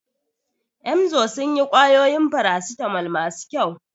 Emzor sun yi ƙwayoyin farasitamol masu kyau.